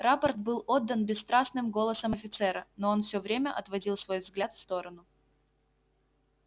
рапорт был отдан бесстрастным голосом офицера но он всё время отводил свой взгляд в сторону